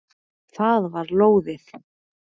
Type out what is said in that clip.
Það var lóðið!